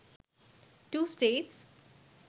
2 states